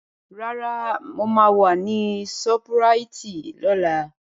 Rárá, mo máa wà ní ṣọ́púraìtì lọ́la.